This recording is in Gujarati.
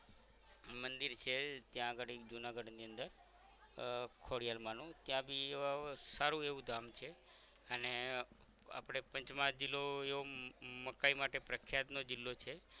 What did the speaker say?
મંદિર છે ત્યાં અગાળી જુનાગઢ ની અંદર આહ ખોડિયાર માં નું ત્યાં બી સારું એવું ધામ છે અને આપણે પંચ મજિલો યો હમ મકાઇ માટે પ્રખિયાત નો જિલ્લો છે